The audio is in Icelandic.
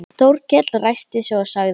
Þórkell ræskti sig og sagði